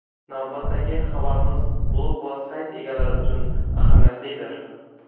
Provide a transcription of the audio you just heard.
Navbatdagi xabarimiz blog va sayt egalari uchun ahamiyatlidir.